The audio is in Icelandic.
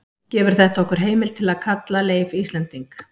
gefur þetta okkur heimild til að kalla leif íslending